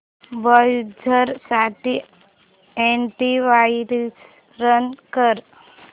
browser साठी antivirus run कर